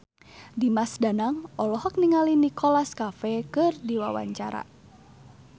Dimas Danang olohok ningali Nicholas Cafe keur diwawancara